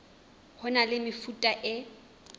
ho na le mefuta e